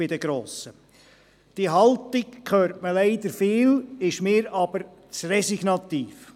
Diese Haltung hört man leider oft, sie ist für mich aber zu resignativ.